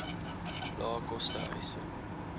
lae koste huise